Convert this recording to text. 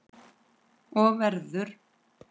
Og verður.